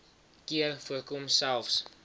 keer voorkom selfs